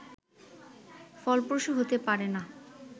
ফলপ্রসূ হতে পারে না